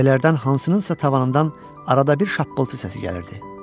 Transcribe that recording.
Kupələrdən hansınınsa tavanından arada bir şapqıltı səsi gəlirdi.